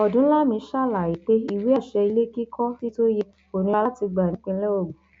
ọdúnlami ṣàlàyé pé ìwé àṣẹ ilé kíkọ síbi tó yẹ kó nira láti gbà nípìnlẹ ogun